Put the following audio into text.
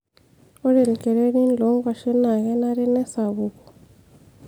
ore ilkererin loonkuashen naa kenare nesapuku